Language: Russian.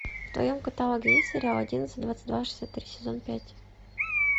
в твоем каталоге есть сериал одиннадцать двадцать два шестьдесят три сезон пять